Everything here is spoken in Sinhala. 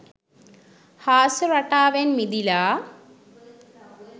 හාස්‍ය රටාවෙන් මිදිලා